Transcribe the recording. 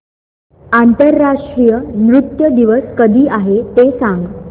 आंतरराष्ट्रीय नृत्य दिवस कधी आहे ते सांग